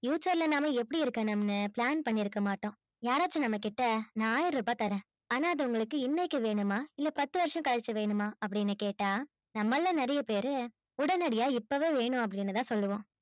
future ல நம்ம எப்பிடி இருக்கணும்னு plan பண்ணி இருக்கமாட்டோம் யாராச்சும் நம்ம கிட்ட நா ஆயிரம் ரூபாய் தரேன் ஆன்னா அது உங்களுக்கு இன்னைக்கு வேண்டுமா இல்ல பத்து வருஷத்துக்கு கழுச்சி வேண்டுமா அப்பிடின்னு கேட்ட நம்மள நிறையபேரு உடனடியா இப்பவே வேணும் அப்பிடின்னு தான் சொல்லுவோம்